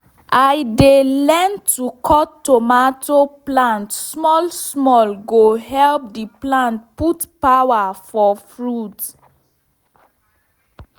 i learn say to cut tomato plant small small go help the plant put power for fruit.